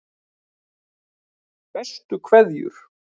Bestu kveðjur